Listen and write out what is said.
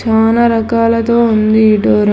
నానా రకాలతో ఉంది ఈ డోరు .